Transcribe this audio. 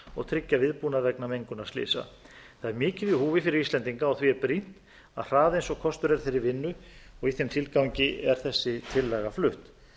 og tryggja viðbúnað vegna mengunarslysa það er mikið í húfi fyrir íslendinga og því er brýnt að hraða eins og kostur er þeirri vinnu og í þeim tilgangi er þessi tillaga flutt